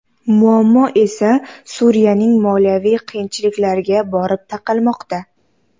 Muammo esa Suriyaning moliyaviy qiyinchiliklariga borib taqalmoqda.